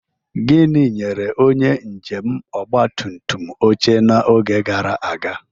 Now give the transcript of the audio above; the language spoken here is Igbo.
Gịnị nyere onye njem ọgba tum tum oche n'oge gara aga?